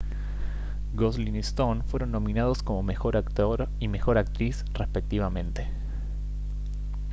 gosling y stone fueron nominados como mejor actor y mejor actriz respectivamente